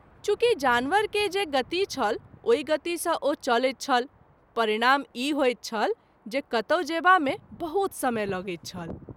चुँकि जानवर के जे गति छल ओहि गति सँ ओ चलैत छल परिणाम ई होइत छल जे कतौ जएबा मे बहुत समय लगैत छल।